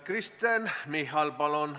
Kristen Michal, palun!